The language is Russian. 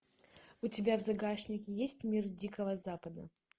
у тебя в загашнике есть мир дикого запада